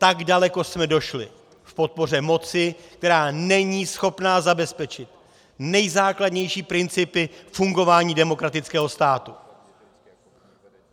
Tak daleko jsme došli v podpoře moci, která není schopna zabezpečit nejzákladnější principy fungování demokratického státu!